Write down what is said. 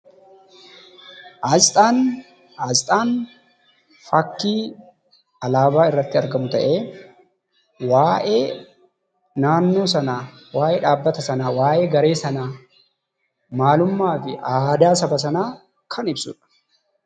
Asxaan faakkii alaabaa iirratti argamuu ta'e waa'ee naannoo sana, waa'ee dhabbata sana, waa'ee garee sana maalummaafi aadaa saba sana kan ibsuudha.